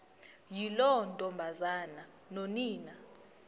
yiloo ntombazana nonina